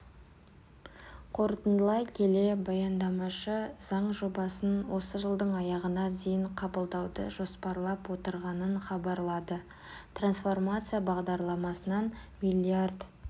қорытындылай келе баяндамашы заң жобасын осы жылдың аяғына дейін қабылдауды жоспарлап отырғанын хабарлады трансформация бағдарламасынан миллиард